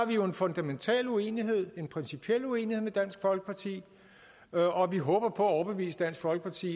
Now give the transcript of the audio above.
vi jo en fundamental uenighed en principiel uenighed med dansk folkeparti og og vi håber på at overbevise dansk folkeparti